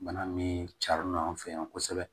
Bana min carila an fɛ yan kosɛbɛ